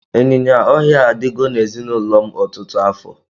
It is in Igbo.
ịnyịnya ọhịa a adigo na ezinụlọ m ọtụtụ afọ.